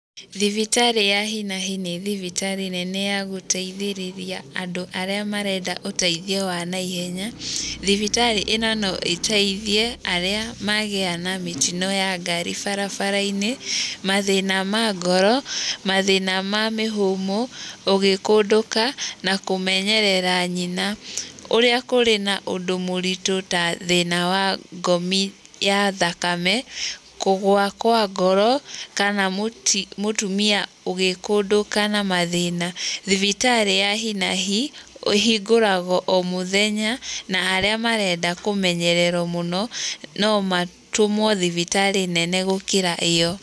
Thibitarĩ ya hi na hi nĩ thibitarĩ nene ya gũteithĩrĩria andũ arĩa marenda ũteithio wa naihenya, thibitarĩ ĩno no ĩteithie arĩa magĩa na mĩtino ya ngari barabarainĩ, mathĩna ma ngoro, mathĩna ma mĩhũmũ, ũgĩkũndũka na kũmenyerera nyina, ũrĩa kũrĩ na ũndũ mũrĩtũ ta thĩna wa ngomi ya thakame, kũgũa kwa ngoro kana mũtumia agĩkũndũka na mathĩna, thibitarĩ ya hi na hi ĩhingũraga omũthenya na arĩa marenda kũmenyererwo mũno nomatũmwo thibitarĩ nene gũkĩra ĩo.